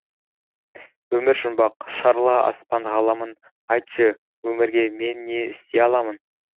өмір жұмбақ шарла аспан ғаламын айтшы өмірге мен не істей аламын